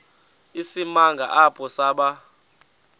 isimanga apho saba